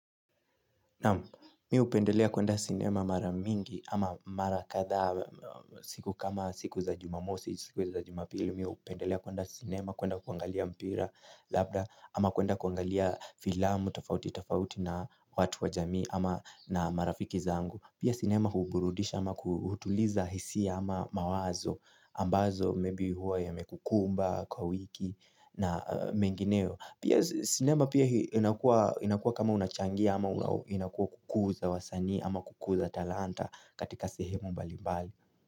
Mi hupendelea kuenda sinema maramingi ama mara katha siku kama siku za jumamosi, siku za jumapili. Mi hupendelea kuenda sinema kuenda kuangalia mpira labda ama kuenda kuangalia filamu, tofauti, tofauti na watu wa jamii ama na marafiki zangu. Pia sinema huburudisha ama kutuliza hisi ama mawazo ambazo maybe huwa yamekukumba kwa wiki na mengineo Pia sinema pia inakua kama unachangia ama inakua kukuza wasanii ama kukuza talanta katika sehemu mbali mbali.